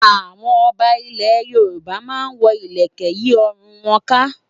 Àwọn ọba ilẹ̀ Yorùbá máa ń wọ ilẹ̀kẹ̀ yí ọrùn wọn ká.